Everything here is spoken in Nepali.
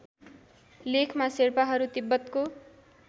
लेखमा शेर्पाहरू तिब्बतको